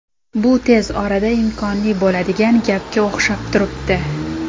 Bu tez orada imkonli bo‘ladigan gapga o‘xshab turibdi.